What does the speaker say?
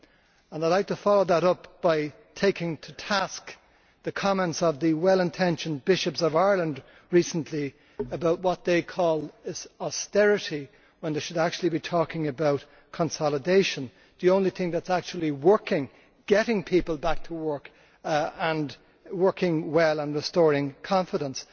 I would like to follow that up by taking to task the comments of the well intentioned Bishops of Ireland recently about what they call austerity when they should actually be talking about consolidation the only thing that is actually working, getting people back to work and working well and restoring confidence.